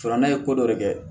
Ne ye ko dɔ de kɛ